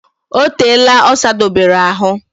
O teela o sadobere ahu